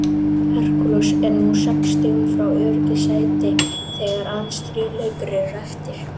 Hercules er nú sex stigum frá öruggu sæti þegar aðeins þrír leikir eru eftir.